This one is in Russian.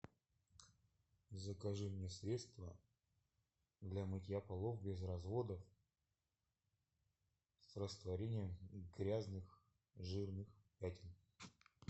закажи мне средство для мытья полов без разводов с растворением грязных жирных пятен